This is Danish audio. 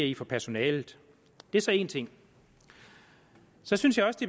i for personalet det er så en ting så synes jeg også